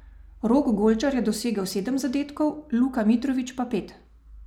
Rok Golčar je dosegel sedem zadetkov, Luka Mitrović pa pet.